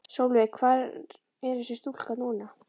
Sólveig: Hvar er þessi stúlka núna?